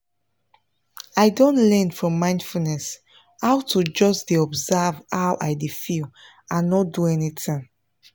i don learn from mindfulness how to just dey observe how i dey feel and nor do anything